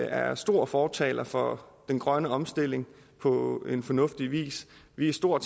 er store fortalere for den grønne omstilling på en fornuftig vis vi er store